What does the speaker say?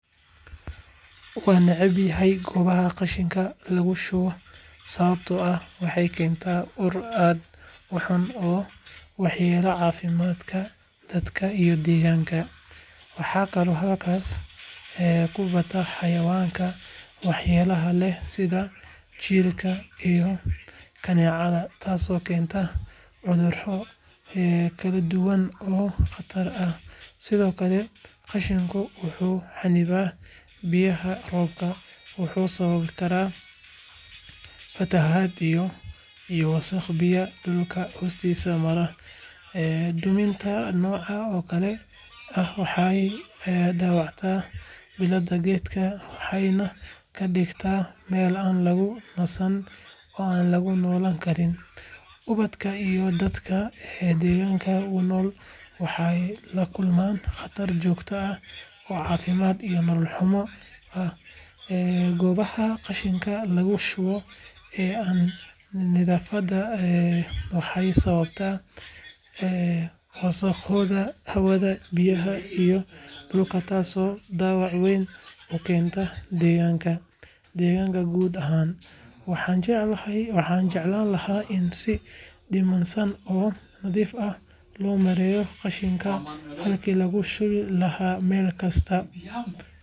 Waannecbahay goobaha qashinka lagu shubo sababtoo ah waxay keenaan ur aad u xun oo waxyeeleeya caafimaadka dadka iyo deegaanka. Waxaa kaloo halkaas ku bata xayawaanka waxyeelada leh sida jiirka iyo kaneecada taasoo keenta cudurro kala duwan oo khatar ah. Sidoo kale, qashinku wuxuu xannibaa biyaha roobka wuxuuna sababi karaa fatahaad iyo wasakhda biyaha dhulka hoostiisa mara. Duminta noocan oo kale ah waxay dhaawacdaa bilicda deegaanka waxayna ka dhigtaa meel aan lagu nastin oo aan lagu noolaan karin. Ubadka iyo dadka deegaanka ku nool waxay la kulmaan khatar joogto ah oo caafimaad iyo nolol xumo ah. Goobaha qashinka lagu shubo ee aan nidaamsanayn waxay sababaan wasakhowga hawada, biyaha iyo dhulka taasoo dhaawac weyn u keenta deegaanka guud ahaan. Waxaan jeclaan lahaa in si nidaamsan oo nadiif ah loo maareeyo qashinka halkii lagu shubi lahaa meel kasta.